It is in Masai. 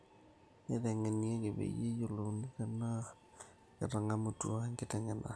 Naitengenieki peyie eyiolouni tenaa ketangamutua enkitengena